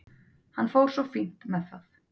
Hann fór svo fínt með það.